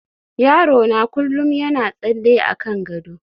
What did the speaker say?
yaro na kullum yana tsalle akan gado